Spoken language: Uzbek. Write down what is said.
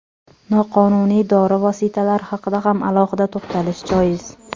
Noqonuniy dori vositalari haqida ham alohida to‘xtalish joiz.